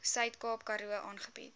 suidkaap karoo aangebied